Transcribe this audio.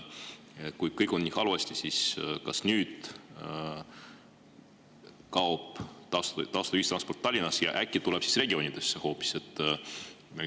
Kui kõik on nii halvasti, siis kas nüüd kaob tasuta ühistransport Tallinnas ära ja äkki tuleb see siis hoopis regioonidesse?